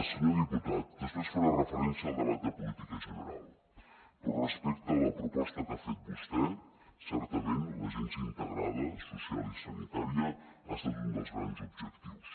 senyor diputat després faré referència al debat de política general però respecte a la proposta que ha fet vostè certament l’agència integrada social i sanitària ha estat un dels grans objectius